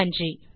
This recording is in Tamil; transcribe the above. நன்றி